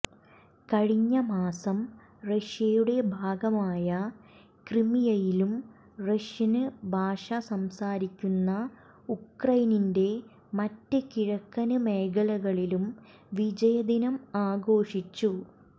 കഴിഞ്ഞ മാസം റഷ്യയുടെ ഭാഗമായ ക്രിമിയയിലും റഷ്യന് ഭാഷ സംസാരിക്കുന്ന ഉക്രൈനിന്റെ മറ്റ് കിഴക്കന് മേഖലകളിലും വിജയദിനം ആഘോഷിച്ചു